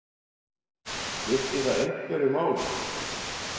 Skiptir það einhverju máli?